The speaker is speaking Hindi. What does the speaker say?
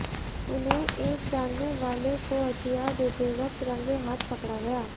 उन्हें एक जानने वाले को हथियार देते वक्त रंगे हाथ पकड़ा गया